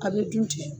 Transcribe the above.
A bɛ dun ten